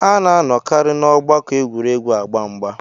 A ná-anọkarị n'ọgbakọ egwuregwu agba mgbà